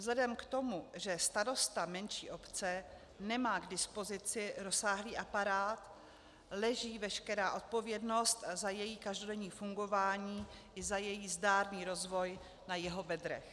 Vzhledem k tomu, že starosta menší obce nemá k dispozici rozsáhlý aparát, leží veškerá odpovědnost za její každodenní fungování i za její zdárný rozvoj na jeho bedrech.